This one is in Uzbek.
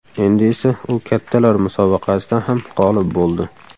Endi esa u kattalar musobaqasida ham g‘olib bo‘ldi.